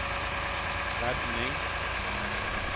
redning